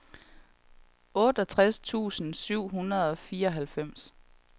otteogtres tusind syv hundrede og fireoghalvfjerds